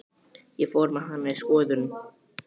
Ég fór með hana í skoðun.